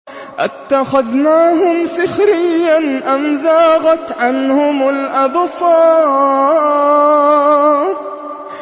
أَتَّخَذْنَاهُمْ سِخْرِيًّا أَمْ زَاغَتْ عَنْهُمُ الْأَبْصَارُ